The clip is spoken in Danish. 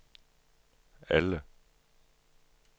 alle